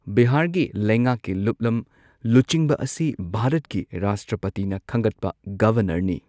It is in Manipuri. ꯕꯤꯍꯥꯔꯒꯤ ꯂꯩꯉꯥꯛꯀꯤ ꯂꯨꯞꯂꯝ ꯂꯨꯆꯤꯡꯕ ꯑꯁꯤ ꯚꯥꯔꯠꯀꯤ ꯔꯥꯁꯇ꯭ꯔꯄꯇꯤꯅ ꯈꯟꯒꯠꯄ ꯒꯚꯔꯅꯔꯅꯤ꯫